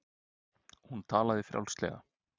Hún talaði frjálslega.